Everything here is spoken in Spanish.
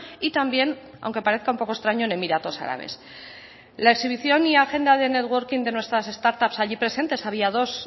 y también aunque parezca un poco extraño en emiratos árabes la exhibición y agenda de networking de nuestras start ups allí presentes había dos